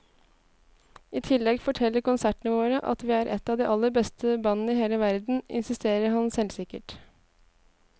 I tillegg forteller konsertene våre at vi er et av de aller beste bandene i hele verden, insisterer han selvsikkert.